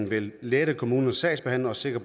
vil lette kommunernes sagsbehandlere og sikre